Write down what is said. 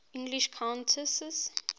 english countesses